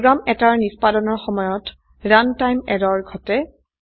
program এটাৰ নিষ্পাদনৰ সময়ত run টাইম এৰৰ ঘটে